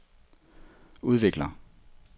udvikler